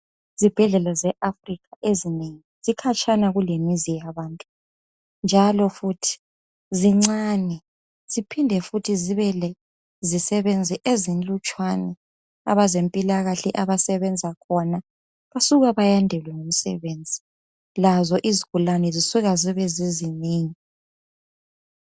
Izibhedlela ze Africa ezinengi zikhatshana kulemizi yabantu, njalo futhi zincane ziphinde futhi zibe lezisebenzi ezinlutshwana abezempilakahle abasebenza khona basuka bayandelwe ngumsebenzi. Lazo izigulani zisuka zibe zinengi.